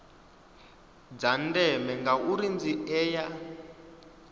dza ndeme ngauri dzi ea